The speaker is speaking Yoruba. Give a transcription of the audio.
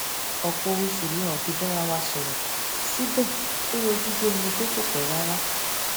ọpọ oṣù la ò fi bára wa sòrò síbè ó yọjú bí ẹni pé kò pé rárá